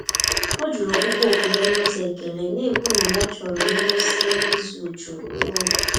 Ọ jụrụ ọkpụkpọ oku ya n’ụzọ ekele, na-ekwu na ha chọrọ ngwụsị izu jụụ n'ụlọ.